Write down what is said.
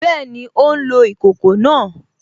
Bẹ́ẹ̀ni, ó ń lo ìkòkò náà